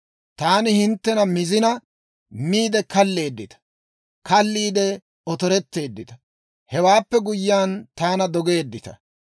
Taani hinttena mizina, miide kalleeddita; kaalliide otoretteeddita; hewaappe guyyiyaan, taana dogeeddita.